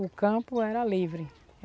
O campo era livre.